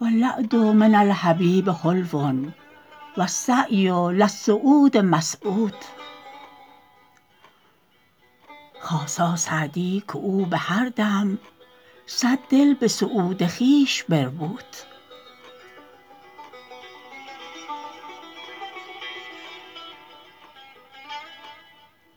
و الوعد من الحبیب حلو و السعی الی السعود مسعود خاصا سعدی که او به هر دم صد دل به سعود خویش بربود